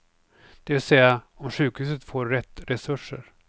Det vill säga, om sjukhuset får rätt resurser.